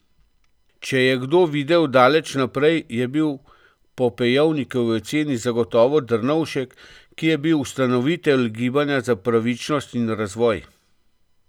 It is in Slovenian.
Če je kdo videl daleč naprej, je to bil po Pejovnikovi oceni zagotovo Drnovšek, ki je bil ustanovitelj Gibanja za pravičnost in razvoj.